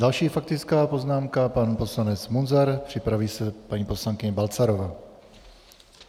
Další faktická poznámka, pan poslanec Munzar, připraví se paní poslankyně Balcarová.